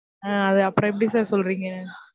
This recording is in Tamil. ஆஹ் அது அப்பறம் எப்படி sir சொல்றிங்க?